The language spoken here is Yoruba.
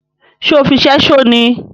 Ṣe ọ fí ṣẹṣo ní?